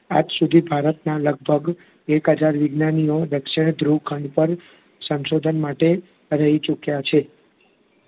આજ સુધી ભારતનાં લગભગ એક હજાર વિજ્ઞાનીઓ દક્ષિણધ્રુવ ખંડ પર સંશોધન માટે રહી ચૂક્યાં છે.